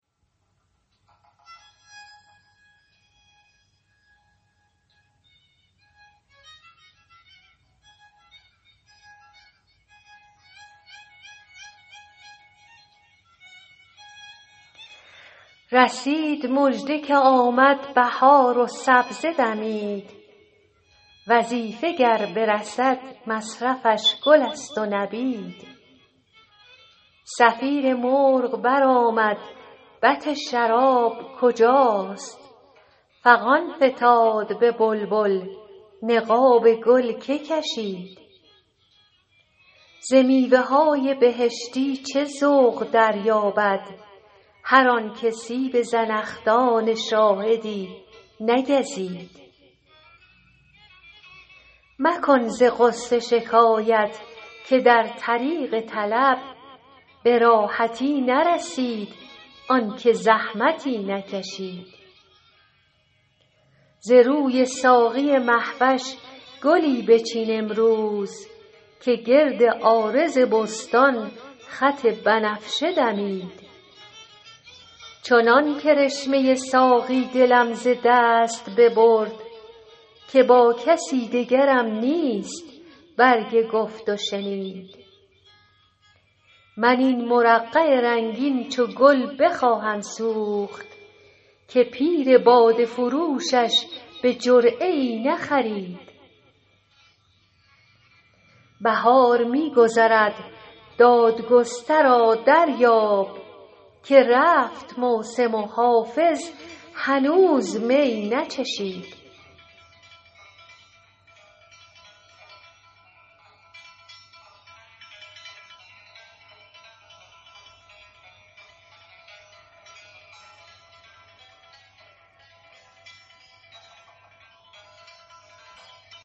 رسید مژده که آمد بهار و سبزه دمید وظیفه گر برسد مصرفش گل است و نبید صفیر مرغ برآمد بط شراب کجاست فغان فتاد به بلبل نقاب گل که کشید ز میوه های بهشتی چه ذوق دریابد هر آن که سیب زنخدان شاهدی نگزید مکن ز غصه شکایت که در طریق طلب به راحتی نرسید آن که زحمتی نکشید ز روی ساقی مه وش گلی بچین امروز که گرد عارض بستان خط بنفشه دمید چنان کرشمه ساقی دلم ز دست ببرد که با کسی دگرم نیست برگ گفت و شنید من این مرقع رنگین چو گل بخواهم سوخت که پیر باده فروشش به جرعه ای نخرید بهار می گذرد دادگسترا دریاب که رفت موسم و حافظ هنوز می نچشید